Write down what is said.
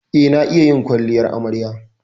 Eh, na iya yin kwalliyar amarya.